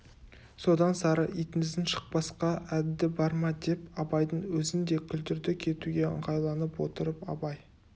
содан сары итіңіздің шықпасқа әдді бар ма деп абайдың өзін де күлдірді кетуге ыңғайланып отырып абай